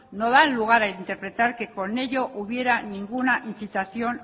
no dan lugar a interpretar que con ello hubiera a ninguna incitación